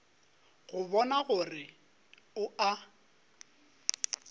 go bona gore o a